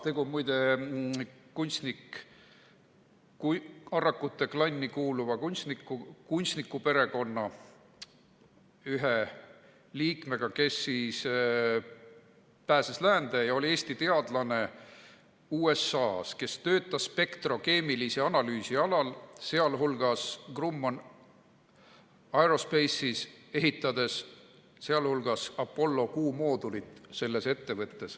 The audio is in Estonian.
Tegu on muide Arrakute klanni kuuluva kunstnikuperekonna ühe liikmega, kes pääses läände ja oli Eesti teadlane USA‑s, kes töötas spektrokeemilise analüüsi alal, sh Grumman Aerospace'is, ehitades selles ettevõttes muu hulgas Apollo kuumoodulit.